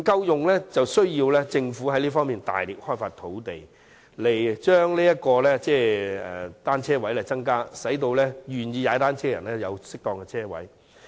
政府需要着力尋找合適的地點，增加單車泊位，使願意以單車代步的人有適當的泊車位。